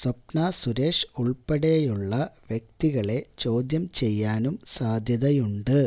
സ്വപ്ന സുരേഷ് ഉള്പ്പെടെയുള്ള വ്യക്തികളെ ചോദ്യം ചെയ്യാനും സാധ്യതയുണ്ട്